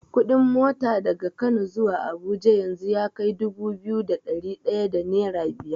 Kuɗin mota daga Kano zuwa Abuja yanzu yakai dubu biyu da ɗari ɗaya da nera biyar.